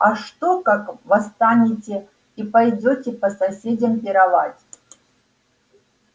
а что как восстанете и пойдёте по соседям пировать